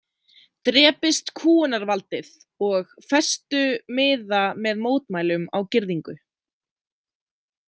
"Drepist kúgunarvaldið!"" og festu miða með mótmælum á girðingu."